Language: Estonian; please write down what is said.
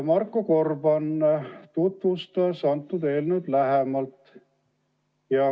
Marko Gorban tutvustas eelnõu lähemalt.